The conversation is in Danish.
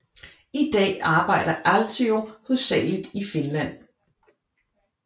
I dag arbejder Aaltio hovedsageligt i Finland